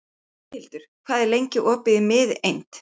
Boghildur, hvað er lengi opið í Miðeind?